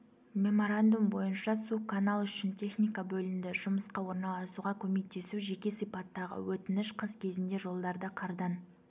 меморандум бойынша су канал үшін техника бөлінді жұмысқа орналасуға көмектесу жеке сипаттағы өтініш қыс кезінде жолдарды қардан